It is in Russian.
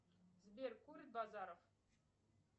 сбер курит базаров